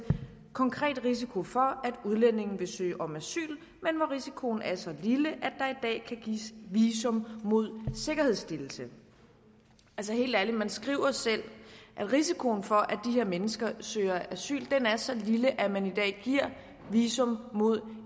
konkret er risiko for at udlændingen vil søge om asyl men hvor risikoen er så lille i dag kan gives visum mod sikkerhedsstillelse altså helt ærligt man skriver selv at risikoen for at her mennesker søger asyl er så lille at man i dag giver visum mod